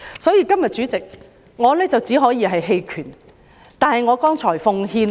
所以，代理主席，我今天只能投棄權票。